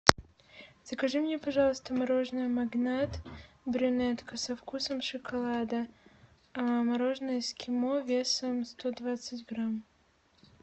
закажи мне пожалуйста мороженое магнат брюнетка со вкусом шоколада мороженое эскимо весом сто двадцать грамм